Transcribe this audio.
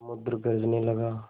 समुद्र गरजने लगा